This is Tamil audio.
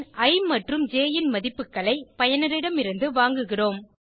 பின் இ மற்றும் ஜ் ன் மதிப்புகளை பயனரிடமிருந்து வாங்குகிறோம்